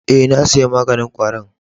Eh, na saya maganin kwari'n.